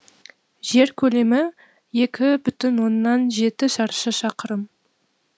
жер көлемі екі бүтін оннан жеті шаршы шақырым